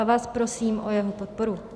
A vás prosím o jeho podporu.